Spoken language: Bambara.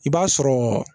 I b'a sɔrɔ